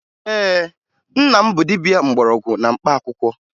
Ee, nna m bụ dibia mgbọrọgwụ na mkpaakwụkwọ